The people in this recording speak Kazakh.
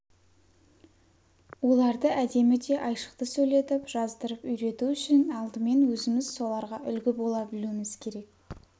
оларды әдемі де айшықты сөйлетіп жаздырып үйрету үшін алдымен өзіміз соларға үлгі бола білуіміз керек